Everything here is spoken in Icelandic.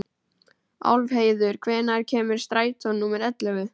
Álfheiður, hvenær kemur strætó númer ellefu?